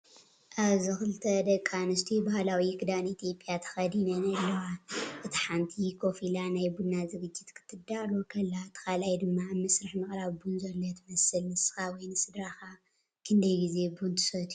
ኣብዚ ክልተ ደቂ ኣንስትዮ ባህላዊ ክዳን ኢትዮጵያ ተኸዲነን ኣለዋ። እቲ ሓንቲ ኮፍ ኢላ ናይ ቡና ዝግጅት ክትዳሎ ከላ፡ እቲ ካልኣይቲ ድማ ኣብ መስርሕ ምቕራብ ቡን ዘሎ ትመስል። ንስኻ ወይ ስድራኻ ክንደይ ግዜ ቡን ትሰትዩ?